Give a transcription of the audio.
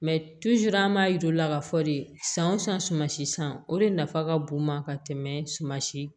Mɛ an m'a yir'u la k'a fɔ de san o san si san o de nafa ka bon ka tɛmɛ suman si